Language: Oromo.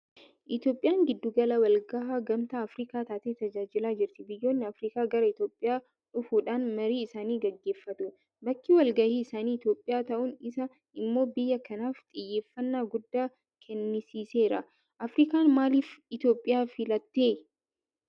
Itoophiyaan gidduu gala walgahii gamtaa Afriikaa taatee tajaajilaa jirti. Biyyoonni Afriikaa gara Itoophiyaa dhufuudhaan marii isaanii gaggeeffatu. Bakki walgahii isaanii Itoophiyaa ta'uun isaa immoo biyya kanaaf xiyyeeffannaa guddaa kennisiiseera. Afriikaan maaliif Itoophiyaa filatte?